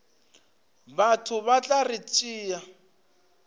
batho ba tla re tšea